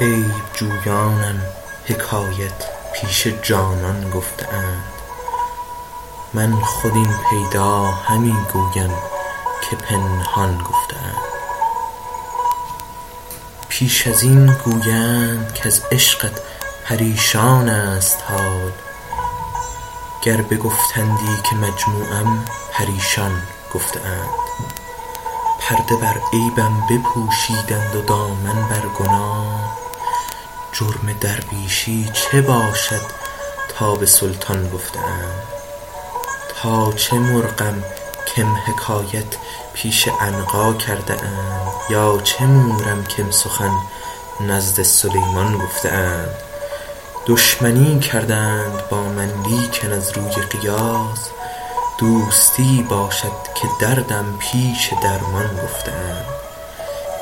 عیب جویانم حکایت پیش جانان گفته اند من خود این پیدا همی گویم که پنهان گفته اند پیش از این گویند کز عشقت پریشان ست حال گر بگفتندی که مجموعم پریشان گفته اند پرده بر عیبم نپوشیدند و دامن بر گناه جرم درویشی چه باشد تا به سلطان گفته اند تا چه مرغم کم حکایت پیش عنقا کرده اند یا چه مورم کم سخن نزد سلیمان گفته اند دشمنی کردند با من لیکن از روی قیاس دوستی باشد که دردم پیش درمان گفته اند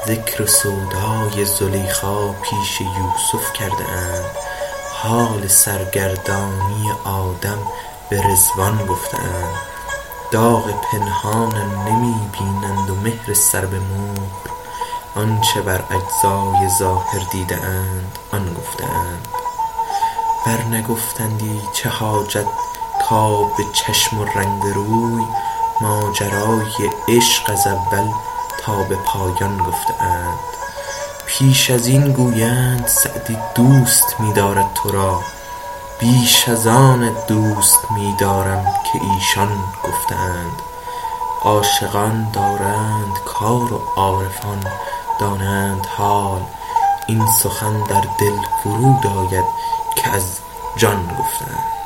ذکر سودای زلیخا پیش یوسف کرده اند حال سرگردانی آدم به رضوان گفته اند داغ پنهانم نمی بینند و مهر سر به مهر آن چه بر اجزای ظاهر دیده اند آن گفته اند ور نگفتندی چه حاجت کآب چشم و رنگ روی ماجرای عشق از اول تا به پایان گفته اند پیش از این گویند سعدی دوست می دارد تو را بیش از آنت دوست می دارم که ایشان گفته اند عاشقان دارند کار و عارفان دانند حال این سخن در دل فرود آید که از جان گفته اند